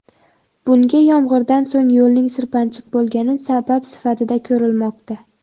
Bunga yomg‘irdan so‘ng yo‘lning sirpanchiq bo‘lgani sabab sifatida ko‘rilmoqda.